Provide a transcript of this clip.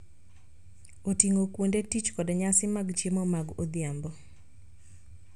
Oting�o kuonde tich kod nyasi mag chiemo mag odhiambo.